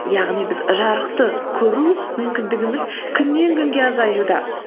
яғни біз жарықты көру мүмкіндігіміз күннен күнге азаюда